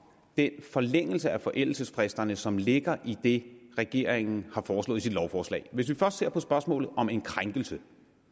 den forlængelse af forældelsesfristerne som ligger i det regeringen har foreslået i sit lovforslag hvis vi først ser på spørgsmålet om en krænkelse